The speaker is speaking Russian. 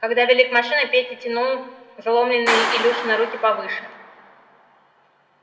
когда вели к машины петя тянул заломленные илюшины руки повыше